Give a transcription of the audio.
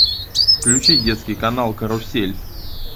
включи детский канал карусель